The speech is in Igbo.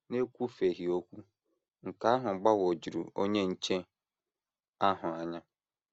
N’ekwufeghị okwu, nke ahụ gbagwojuru onye nche ahụ anya.